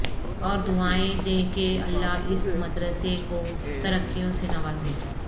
اور دعائیں دیں کہ اللہ اس مدرسے کو ترقیوں سے نوازے